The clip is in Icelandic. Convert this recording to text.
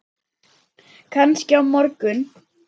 Kannski á morgun.